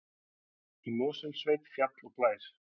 Í Mosfellssveit, fjall og bær.